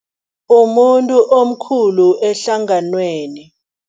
Umuntu omkhulu ehlanganweni.